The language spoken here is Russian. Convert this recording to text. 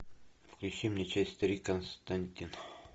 включи мне часть три константин